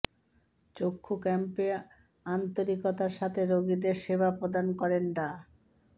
চক্ষু ক্যাম্পে আন্তরিকতার সাথে রোগীদের সেবা প্রদান করেন ডা